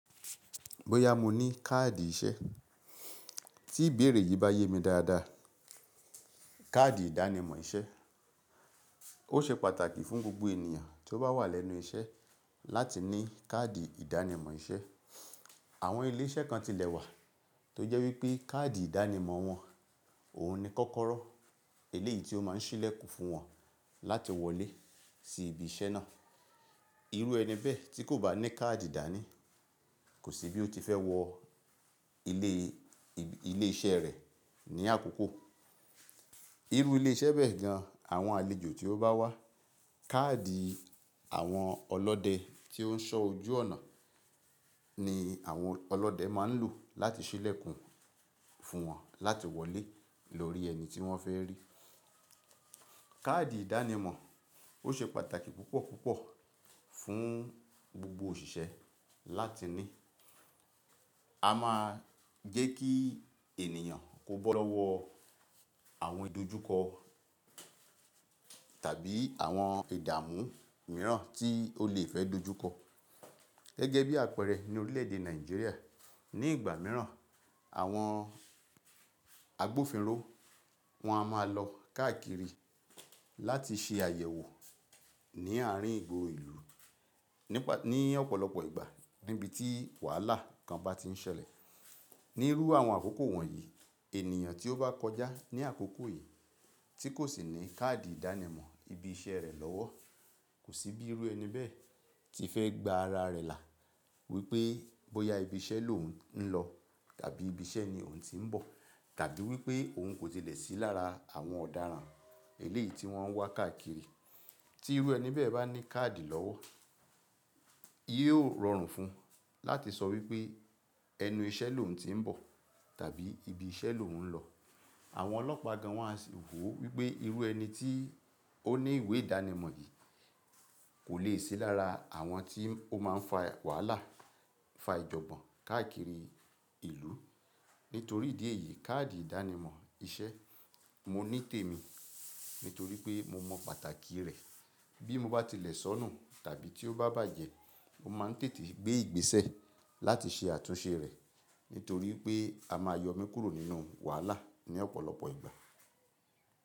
Bóyá mo ní káàdì iṣẹ́. Tí ìbéèrè yìí bá yé mi dáadáa, káàdì ìdánimọ̀ iṣẹ́ ó ṣe pàtàkì fún gbogbo ènìyàn tí ó bá wà lẹ́nu iṣẹ́ láti ní káàdì ìdánimọ̀ iṣẹ́. Àwọn ilé iṣẹ́ kan tilẹ̀ wà tó jẹ́ wípé káàdì ìdánimọ̀ wọn, òhun ni kọ́kọ́rọ́ eléyìí tí ó má n sílẹ̀kùn fún wọn láti wọlé sí ibi iṣẹ́ náà. Irú ẹni bẹ́ẹ̀ tí kò bá ní káàdì dánì, kò sí bí ó ti fẹ́ wọ ilé, ilé iṣẹ́ rẹ̀ ní àkókò. Irú ilé iṣẹ́ bẹ́ẹ̀ gan, àwọn àlejò tí ó bá wá, káàdì àwọn ọlọ́dẹ tí ó ń ṣọ ojú ọ̀nà ni àwọn ọlọ́dẹ má ń lò láti sílẹ̀kùn fún wọn láti wọlé lórí ẹni tí wọ́n fẹ́ rí. Káàdì ìdánimọ̀ ó ṣe pàtàkì púpọ̀ púpọ̀ fún gbogbo òṣìṣẹ́ láti ní. A má gẹ́ kí ènìyàn kó bó lọ́wọ́ àwọn ìdojúkọ tàbí àwọn ìdáhùn mìíràn tí ó lè fẹ́ dojúkọ. Gẹ́gẹ́ bí àpẹẹrẹ ní orílè èdè Nàìjíríà, ní ìgbà mìíràn àwọn agbófinró, wọ́n á máa lọ káàkiri láti ṣe àyẹ̀wò ní àárín igbóro ìlú nípa, ní ọ̀pọ̀lọpọ̀ ìgbà níbi tí wàhálà kan bá ti ń ṣẹlẹ̀. Ní irú àwọn àkókò wọ̀nyí, ènìyàn tí ó bá kọjá ní àkókò yìí tí kò sì ní káàdì ìdánimọ̀ ibi iṣẹ́ rẹ̀ lọ́wọ́, kò sí bí irú ẹni bẹ́ẹ̀ tí fẹ́ gba ara rẹ̀ là wípé bóyá ibi iṣẹ́ lò ń lọ tàbí ibi iṣẹ́ ni òun ti ń bọ̀, tàbí wípé òun kò tilẹ̀ sí lára àwọn ọ̀daràn eléyìí tí wọ́n ń wá káàkiri. Tí irú ẹni bẹ́ẹ̀ bá ní káàdì lọ́wọ́, yio rọrùn fún un láti sọ wípé ẹnu iṣẹ́ lòun ti ń bọ̀ tàbí ibi iṣẹ́ lòun ń lọ. Àwọn ọlọ́pàá gan wọ́n á sì wò wípé irú ẹni tí ó ní ìwé ìdánimọ̀ yìí kò lè sí lára àwọn tí ó má ń fa wàhálà, fa ìjọ̀gbọ́n káàkiri ìlú. Nítorí ìdí èyí, káàdì ìdánimọ̀ iṣẹ́ mo ní tèmi, nítorí pé mo mọ pàtàkì rẹ̀. Bí mo bá tilẹ̀ sọnù tàbí tí ó bá bàjẹ́, mo má ń tètè gbé ìgbésẹ̀ láti ṣe àtúnṣe rẹ̀, nítorí pé a máa yọ mi kúrò nínú wàhálà ní ọ̀pọ̀lọpọ̀ ìgbà.